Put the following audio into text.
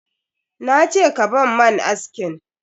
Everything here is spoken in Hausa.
Na ce ka ban man askin!